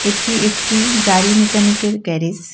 এটি একটি গাড়ি মেকানিকের গ্যারেস .